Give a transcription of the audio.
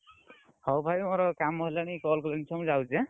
ହଉ ଭାଇ ମୋର କାମ ହେଲାଣି call କଲେଣି ଛୁଆ ମୁଁ ଯାଉଛି ଆନ୍ନ।